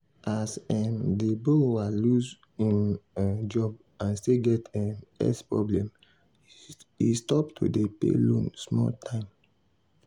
as um di borrower lose im um job and still get um health problem he stop to dey pay loan small time.